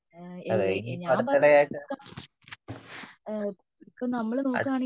അതേ ഇനിയിപ്പോ അടുത്തിടെ ആയിട്ട് അടൂ